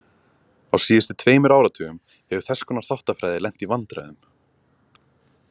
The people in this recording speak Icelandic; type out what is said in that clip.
Á síðustu tveimur áratugum hefur þess konar þáttafræði lent í vandræðum.